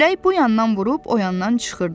Külək bu yandan vurub o yandan çıxırdı.